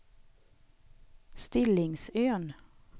Stillingsön